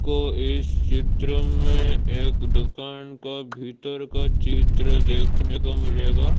आपको इस चित्र में एक दुकान का भीतर का चित्र देखने को मिलेगा।